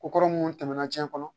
Ko kɔrɔ munnu tɛmɛna tiɲɛ kɔnɔ